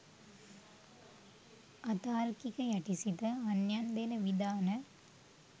අතාර්කික යටි සිත අන්‍යයන් දෙන විධාන